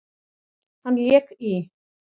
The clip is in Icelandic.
Hann lék í